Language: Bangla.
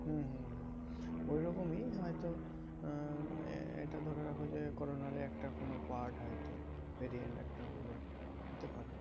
হম হম হম ঐরকমই হয়তো আহ একটা ধরে রাখো যে, corona র ই একটা কোনো part হয়তো variant একটা হলো হতে পারে।